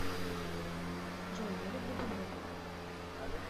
джой я люблю бобров